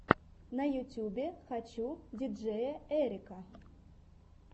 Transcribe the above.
на ютубе хочу диджеяэрика